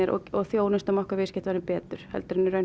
og þjónustum okkar viðskiptavini betur heldur en raun